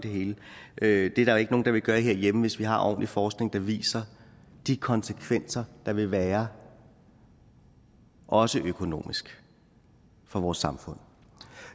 det er ikke nogen der vil gøre her hjemme hvis vi har ordentlig forskning der viser de konsekvenser der vil være også økonomisk for vores samfund